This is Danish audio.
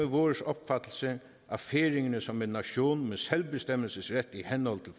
vores opfattelse af færingerne som en nation med selvbestemmelse i handel og